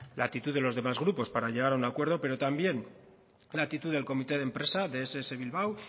la actitud de los demás grupos para llegar a un acuerdo pero también la actitud del comité de empresa de ess bilbao